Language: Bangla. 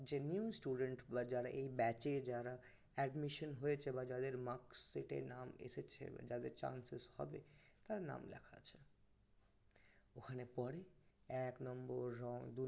যে new student যারা এই batch এ যারা admission হয়েছে বা যাদের marks sheet এতে নাম এসেছে বা যাদের chances হবে তাদের নাম লেখা আছে ওখানে পরে এক নম্বর